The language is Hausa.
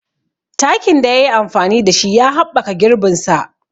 Takin da ya yi amfani da shi ya haɓɓaka girbin sa.